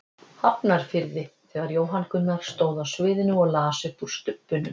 Hafnarfirði þegar Jóhann Gunnar stóð á sviðinu og las upp úr Stubbnum.